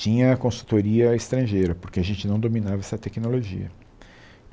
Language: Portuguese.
tinha a consultoria estrangeira, porque a gente não dominava essa tecnologia.